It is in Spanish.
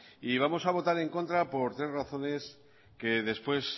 y vamos a votar en contra por tres razones que después